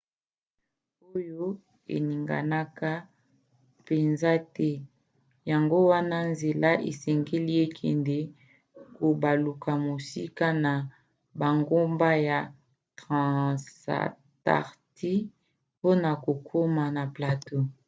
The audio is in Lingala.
oyo eninganaka mpenza te yango wana nzela esengeli ekende kobaluka mosika na bangomba ya transantarcti mpona kokoma na plateau